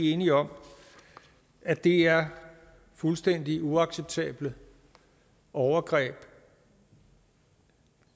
enige om at det er fuldstændig uacceptable overgreb